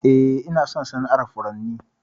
Eh, Ina son sana'ar furanni.